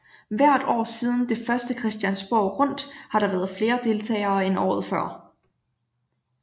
Hvert år siden det første Christiansborg Rundt har der været flere deltagere end året før